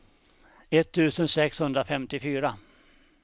etttusen sexhundrafemtiofyra